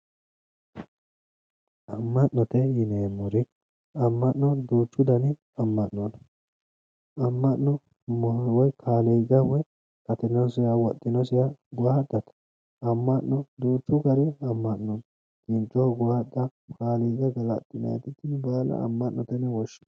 Amma'note yineemmori aamma'no duuchu dani amma'no no amma'no woye kaliiqa woye afinosina wodhinosiha owaatate amma'no duuchu gari amma'no no kinchoho owaaxxa kaliiqa galaxxinanniti tini baala amma'note yine woshshinanni